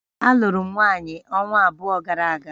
Alụụrụ m nwanyị ọnwa abụọ gara aga